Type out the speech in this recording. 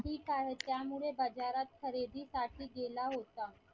ठीक आहे त्यामुळे बाजारात खरेदीसाठी गेला होता.